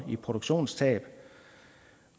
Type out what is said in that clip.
i produktionstab